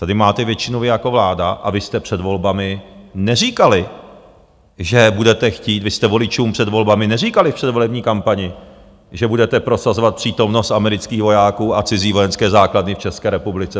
Tady máte většinu vy jako vláda, a vy jste před volbami neříkali, že budete chtít - vy jste voličům před volbami neříkali, při volební kampani, že budete prosazovat přítomnost amerických vojáků a cizí vojenské základny v České republice.